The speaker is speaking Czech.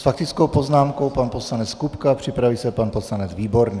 S faktickou poznámkou pan poslanec Kupka, připraví se pan poslanec Výborný.